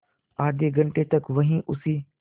आधे घंटे तक वहीं उसी